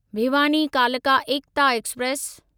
भिवानी कालका एकता एक्सप्रेस